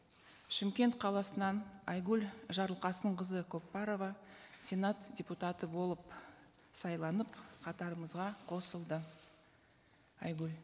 шымкент қаласынан айгүл жарылқасынқызы көпбарова сенат депутаты болып сайланып қатарымызға қосылды айгүл